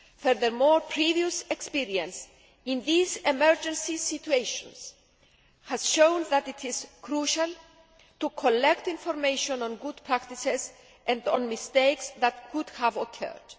Furthermore, previous experience in these emergency situations has shown that it is crucial to collect information on good practices and on mistakes that might have occurred.